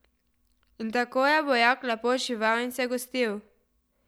In tako je vojak lepo živel in se gostil.